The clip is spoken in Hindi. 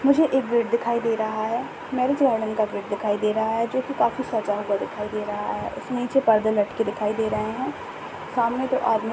मुझे एक गेट दिखाए दे रहा है मैरिज वर्णन का गेट दिखाई दे रहा है जो की काफी सजा हुआ दिखाए दे रहा है नीचे पर्दे लटके दिखाए दे रहे है सामने दो आदमी--